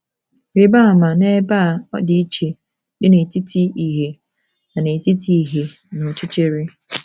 Rịba ama n’ebe a ọdịiche dị n’etiti ìhè na n’etiti ìhè na ọchịchịrị.